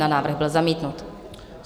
Návrh byl zamítnut.